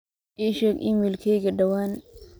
ii sheeg iimaylkayga dhawaan